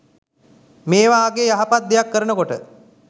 මෙ වාගේ යහපත් දෙයක් කරනකොට